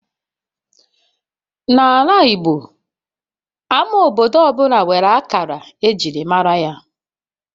N'ala Igbo, Ama obodo ọ bụla nwere akara ejiri mara ya